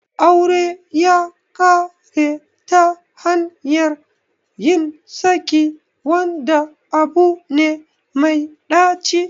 Aure ya kare ta hanyar yin saki, wanda abu ne mai ɗaci